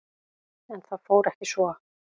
En það fór ekki svo.